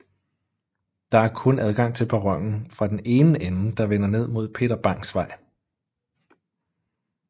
Der er kun adgang til perronen fra den ende der vender ned mod Peter Bangs Vej